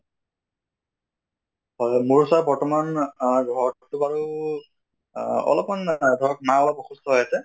হয় হয় মোৰ ওচৰত বৰ্তমান আহ ঘৰত তো বাৰু আহ অলপ্মান আহ ধৰক মা অলপ অসুস্থ হৈ আছে